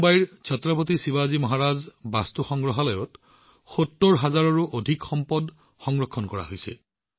মুম্বাইৰ ছত্ৰপতি শিৱাজী মহাৰাজ বাস্তু সংগ্ৰহালয় এনে এক সংগ্ৰহালয় যত ৭০ হাজাৰৰো অধিক সামগ্ৰী সংৰক্ষণ কৰা হৈছে